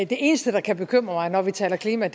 det eneste der kan bekymre mig når vi taler klima